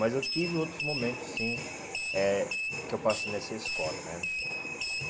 Mas eu tive outros momentos, sim, eh que eu passei nessa escola, né?